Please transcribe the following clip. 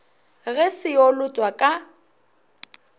ge se yo lotwa ka